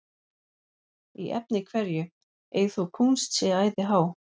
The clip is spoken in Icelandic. Í efni hverju ei þó kúnst sé æði há,